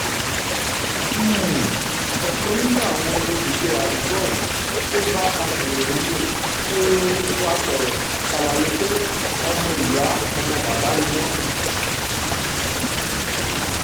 um ọ̀kan nínú àwọn olùgbé àdúgbò ohun tó bá akọ̀ròyìn um wa sọ̀rọ̀ ṣàlàyé pé ọmọ ìyá ọmọ bàbá ni wọ́n